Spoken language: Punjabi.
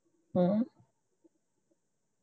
ਹਮ